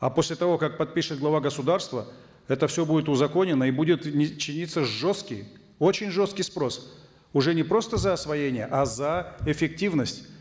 а после того как подпишет глава государства это все будет узаконено и будет чиниться жесткий очень жесткий спрос уже не просто за освоение а за эффективность